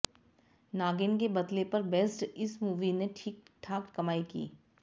नागिन के बदले पर बेस्ड इस मूवी ने ठीक ठाक कमाई की